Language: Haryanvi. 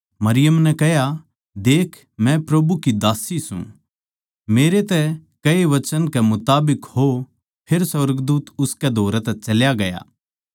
मरियम नै कह्या देख मै प्रभु की दास्सी सूं मेरै तेरै कहैए वचन कै मुताबिक हो फेर सुर्गदूत उसके धोरै तै चल्या ग्या